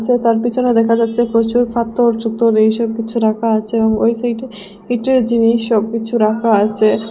যে তার পিছনে দেখা যাচ্ছে প্রচুর ফাতোর চুতোর এইসব কিছু রাকা আচে ওই সাইডে কিছু জিনিস সব কিছু রাকা আচে।